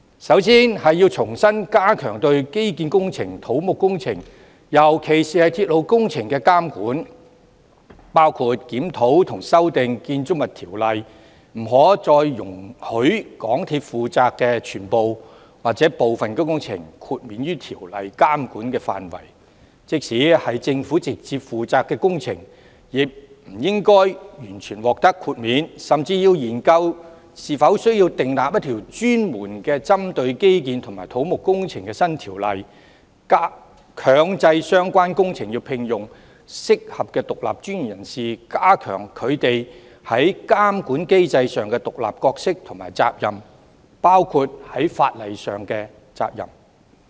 首先，應重新加強對基建、土木工程，尤其是鐵路工程的監管，包括檢討和修訂《建築物條例》，不可再容許港鐵負責的全部或部分工程豁免於條例監管的範圍，即使屬政府直接負責的工程，亦不應完全獲得豁免，甚至要研究是否需要訂立一條專門針對基建及土木工程的新條例，強制相關工程聘用合適的獨立專業人士，加強他們在監管機制上的獨立角色和責任，包括法律責任。